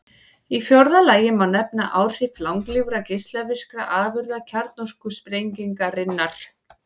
Í fjórða lagi má nefna áhrif langlífra geislavirkra afurða kjarnorkusprengingarinnar.